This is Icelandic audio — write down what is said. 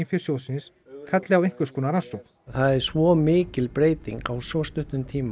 fé sjóðsins kalli á einhvers konar rannsókn það er svo mikil breyting á svo stuttum tíma